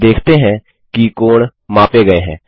हम देखते हैं कि कोण मापे गए हैं